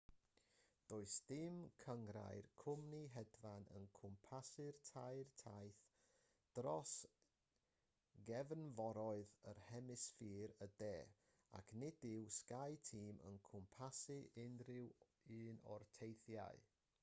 does dim cynghrair cwmni hedfan yn cwmpasu'r tair taith dros gefnforoedd yn hemisffer y de ac nid yw skyteam yn cwmpasu unrhyw un o'r teithiau